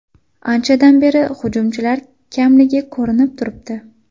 Anchadan beri hujumchilar kamligi ko‘rinib turibdi.